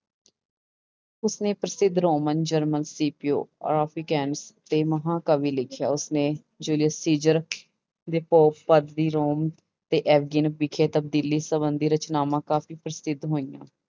ਉਸਨੇ ਪ੍ਰਸਿੱਧ Roman general Scipio Africanus ਤੇ ਮਹਾਕਾਵਿ ਲਿਖਿਆ ਉਸਨੇ ਰੋਮ ਤੇ ਐਵਗਣ ਵਿਖੇ ਤਬਦੀਲੀ ਸੰਬੰਧੀ ਰਚਨਾਵਾਂ ਕਾਫ਼ੀ ਪ੍ਰਸਿੱਧ ਹੋਈਆਂ